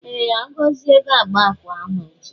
Ee, Agozie ga agba akwa ahu echi.